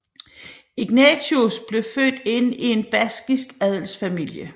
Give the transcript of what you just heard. Ignatius blev født ind i en baskisk adelsfamilie